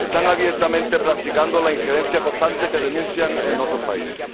Están abiertamente practicando la injerencia constante que denuncian en otros países.